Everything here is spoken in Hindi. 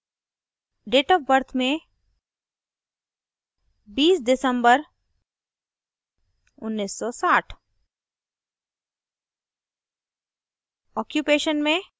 अब date of birth में 20th december 1960